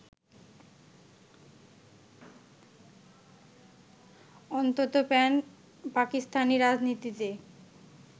অন্তত প্যান-পাকিস্তানি রাজনীতিতে